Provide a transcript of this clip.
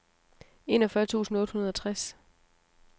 enogfyrre tusind otte hundrede og tres